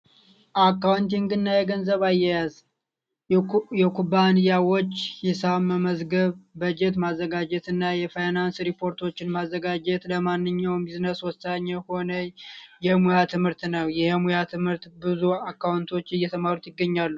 አካውንቲግና የገንዘብ አያያዝ፤ የኩባንያዎች ሂሳብ መመዝገብ በጀት ማዘጋጀትና የፋይናንስ ሪፖርት ማዘጋጀት ለማንኛውም ቢዝነስ ወሳኝ የሆነ የሙያ ትምህርት ነው። ይህ የሙያ ትምህርት ብዙ አካውንቶች እየተማሩት ይገኛሉ።